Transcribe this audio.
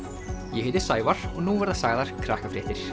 ég heiti Sævar og nú verða sagðar